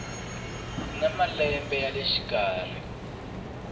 na malembe ya le xikarhi